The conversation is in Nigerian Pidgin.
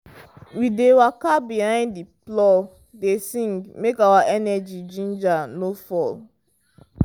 We dey waka behind the plow dey sing make our energy ginger no fall